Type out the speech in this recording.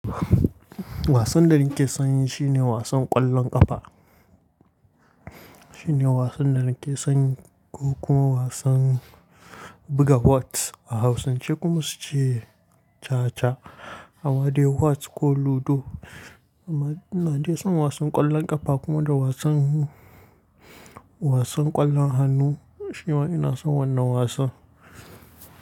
Wasan da nake son yi shine wasan ƙwallon ƙafa. Shine wasan da nake son yi ko kuma wasan buga whots. A hausance kuma su ce caca. Anma dai whots ko ludo. Na fi son wasan ƙwallon ƙafa kuma da wasan, wasan ƙwallon hannu shima ina son wannan wasan.